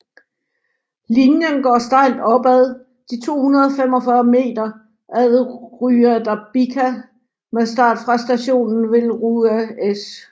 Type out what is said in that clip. Linjen går stejlt opad de 245 meter ad Rua da Bica med start fra stationen ved Rua S